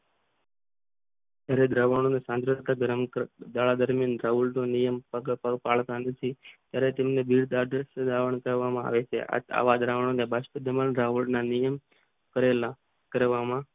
હરે દ્રવનું સંકેતિકરણ નો નિયમ દાળ દરમિયાન દ્રવિડનો નિયમ કરવામાં આવ છે આવ અદ્ર્વ્યો ન રાષ્ટ્ર ના નિયમ કરેલા કરવામાં